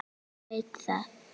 Hann veit það.